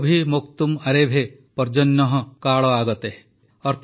ସ୍ୱଗୋଭିଃ ମୋକ୍ତୁମ୍ ଆରେଭେ ପର୍ଜନ୍ୟଃ କାଳ ଆଗତେ